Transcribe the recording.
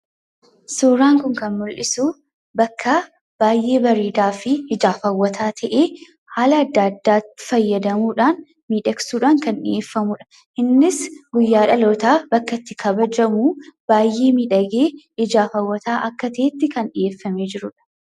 Suuraan kun kan mul'isu bakka baay'ee bareedaa ta'eefi ijaaf hawwataa ta'e haala adda addaa faayadamuudhan kan midhegfamudha. Innis guyyaa dhaloota bakka itti kabajamuu baay'ee miidhagee ijaaf hawwata ta'etti kan dhiyeeffamedha.